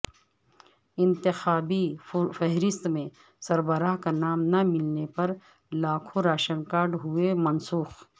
انتخابی فہرست میں سربراہ کا نام نہ ملنے پر لاکھوں راشن کارڈ ہوئے منسوخ